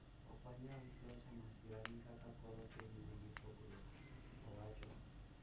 "Ok wanyal loyo masira ni kaka koro piny nigi pogruok", owacho.